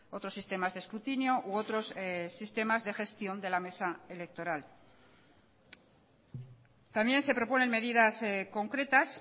otros sistemas de escrutinio u otros sistemas de gestión de la mesa electoral también se proponen medidas concretas